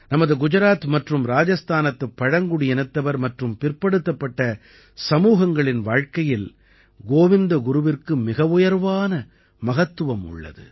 நமது குஜராத் மற்றும் ராஜஸ்தானத்துப் பழங்குடியினத்தவர் மற்றும் பிற்படுத்தப்பட்ட சமூகங்களின் வாழ்க்கையில் கோவிந்த குருவிற்கு மிகவுயர்வான மகத்துவம் உள்ளது